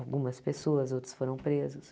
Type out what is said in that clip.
Algumas pessoas, outras foram presas.